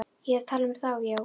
Ég er að tala um þá, já.